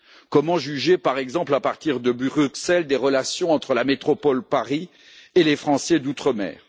Comment juger, par exemple, à partir de Bruxelles, des relations entre la métropole Paris et les Français d'Outre mer?